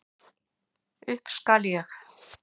Upp skal ég.